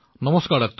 নমস্কাৰ ডাক্টৰ